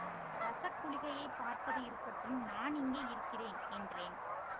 ரஸக் குளிகையைப் பார்ப்பது இருக்கட்டும் நான் எங்கே இருக்கிறேன் என்றேன்